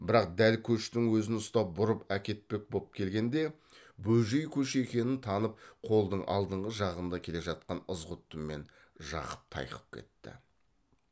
бірақ дәл көштің өзін ұстап бұрып әкетпек боп келгенде бөжей көші екенін танып қолдың алдыңғы жағында келе жатқан ызғұтты мен жақып тайқып кетті